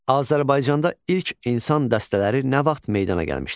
Azərbaycanda ilk insan dəstələri nə vaxt meydana gəlmişdir?